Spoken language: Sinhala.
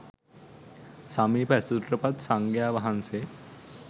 සමීප ඇසුරට පත් සංඝයා වහන්සේ